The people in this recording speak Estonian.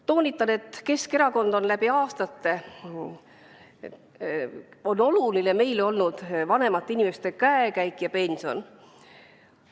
Toonitan, et meile, Keskerakonnale on läbi aastate olnud oluline vanemate inimeste käekäik ja pension.